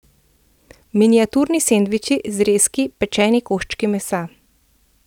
Miniaturni sendviči, zrezki, pečeni koščki mesa.